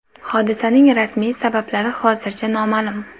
Hodisaning rasmiy sabablari hozircha noma’lum.